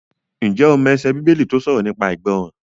Ǹjẹ́ o mọ ẹsẹ Bíbélì tó sọ̀rọ̀ nípa ìgbọràn?